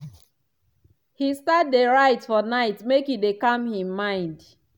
he start dey write for night make e dey calm him mind.